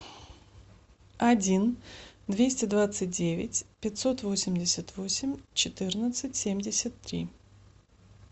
один двести двадцать девять пятьсот восемьдесят восемь четырнадцать семьдесят три